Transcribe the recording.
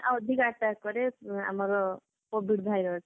ଅଧିକ attack କରେ ଆମର covid virus